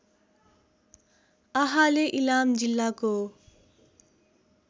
आहाले इलाम जिल्लाको